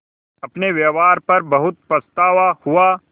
अपने व्यवहार पर बहुत पछतावा हुआ